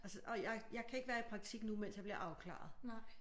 Altså og jeg jeg kan ikke være i praktik nu mens jeg bliver afklaret